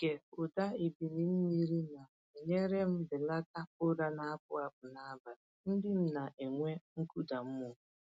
Ịge ụda ebili mmiri na-enyere m belata ụra na-apụ apụ n’abalị ndị m na-enwe nkụda mmụọ.